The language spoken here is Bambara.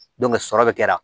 sɔrɔ bɛ kɛra